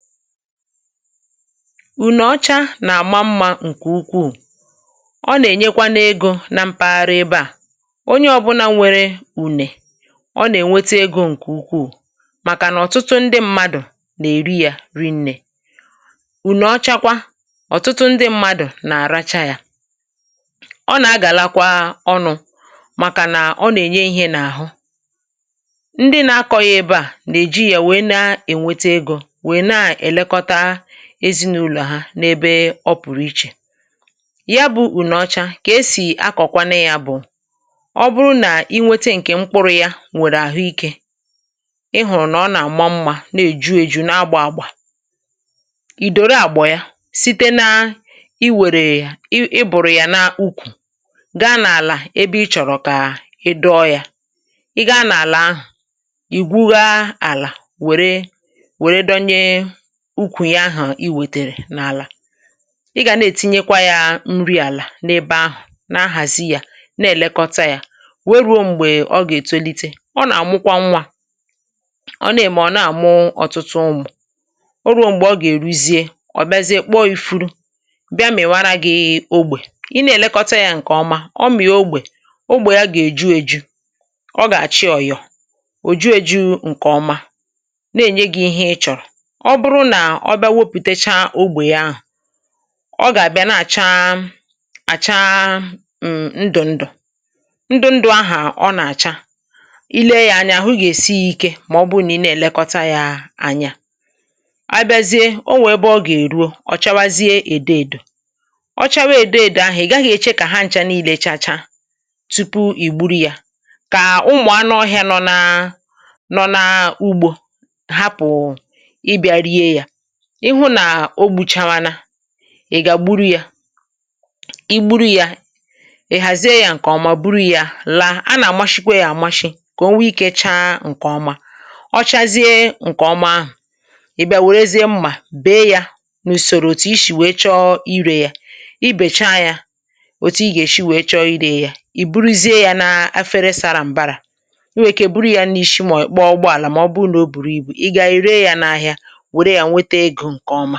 Ùnọọchà nà-àma mmȧ, ǹkè ukwuù, ọ nà-ènyekwa n’egȯ n’ime mpaghara ebe à, onye ọbụnà nwere ùne, ọ nà-ènwete egȯ ǹkè ukwuù. Màkà nà ọ̀tụtụ ndị mmadụ̀ nà-èri yà ri nnė, ùnọọchakwa ọ̀tụtụ ndị mmadụ̀ nà-àracha yà, ọ nà-agàlakwa ọnụ̇, màkà nà ọ nà-ènye ihe n’àhụ ndị nà-akọ̇ghị̇ ebe à nà-èji yà wèe na-ènwete egȯ, èlekọta ezinaụ̀lọ̀ ha n’ebe ọ pụ̀rụ iche. Yabụ, ùnọọchà kà esì akọ̀kwanụ yà: ọ bụrụ nà i nwete ǹkè mkpụrụ̇ ya, nwèrè àhụikė. Ì hụ̀rụ̀ nà ọ nà-àma mmȧ, nà-èju èjù n’agbȧ àgbà. Ì dòro àgbọ̀ ya site nà i wèrè yà, i bùrụ̀ yà n’ukwù, gaa n’àlà ebe ị chọ̀rọ̀ kà ị dọọ yà. Ị gaa n’àlà ahụ̀, ì gwuga àlà, wèrè, ehm, dọnye ukwù ya ahụ̀ i wètèrè n’àlà.Ị gà na-ètinyekwa yà nri àlà n’ebe ahụ̀, na-ahàzi yà, na-èlekọta yà, wee ruo m̀gbè ọ gà-ètolite. Ọ nà-àmụkwa nwȧ, ọ na-ème, ọ̀ na-àmụ ọ̀tụtụ ụmụ̀. O ruo m̀gbè ọ gà-èruzie, ọ̀ biazie kpọ ifu̇ru̇, bịa m̀. Ì̀ wara gị̇ ogbè i na-èlekọta yà ǹkè ọma. Ọ mị̀a, ogbè, ogbè ya gà-èju èjù, ọ gà-àchị ọ̀yọ̀, ò ju èjù — ǹkè ọma na-ènye gị ihe ị chọ̀rọ̀.Ọ bịa, wepùtecha ogbè ahụ̀, ọ gà-àbịa nà-àcha àcha ndụ̀-ndụ̀, ahà ọ nà-àcha, ile yà anya ahụ gà-èsi ikė. Mà ọ bụrụ nà ị na-èlekọta yà anya, hmm… abịazie, o nwè ebe ọ gà-èruo. Ọ̀ chawazie èdo èdò, ọ chawa èdo èdò ahụ̀, ị gaghị̇ èche kà ha nchȧ niile chacha. Tupu ì gburu yà, kà ụmụ̀ anụ ọhị̀ȧ nọ n’ugbȯ hapụ̀ụ̀ ihu, nà o gbùchànwana. Ị̀ gà gburu yà, i gburu yà, ị̀ hàzie yà ǹkè ọma. Bụrụ yà, laa, a nà-àmashịkwa yà àmashị, kà o nwee ikėcha ǹkè ọma. Ọ chazie ǹkè ọma ahụ̀.Ì̀ bịa, wèrezie mmà, bèe yà n’ùsòrò, òtù isì, wèe chọọ irė yà. Ị bècha yà, òtù ị gà-èshi, wèe chọọ irė yà. Ì buruzie yà n’afere sara m̀bara, iwèkè, buru yà n’ishi. Mà ìkpo ọgbọàlà, mà ọ bụụ nà o bùrù ibu, ị gà-àrịrịa yà n’ahịa. Ǹkè ọma.